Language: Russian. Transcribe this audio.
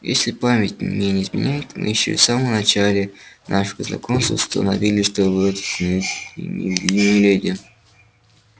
если память мне не изменяет мы ещё в самом начале нашего знакомства установили что вы отнюдь не леди